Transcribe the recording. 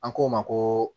An k'o ma koo